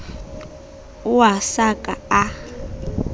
ao a sa ka a